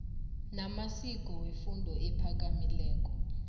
namaziko wefundo ephakamileko